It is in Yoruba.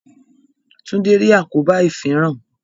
Tunde rí àkóbá ifinran